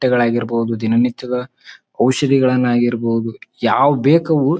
ಬಟ್ಟೆಗಳಾಗಿರಬಹುದು ದಿನನಿತ್ಯದ ಔಷದಿಗಳನ್ನಾಗಿರಬಹುದು ಯಾವ್ ಬೇಕವು--